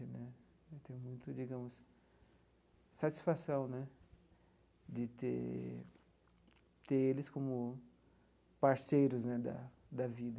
Né eu tenho muita, digamos, satisfação né de ter ter eles como parceiros né da da vida.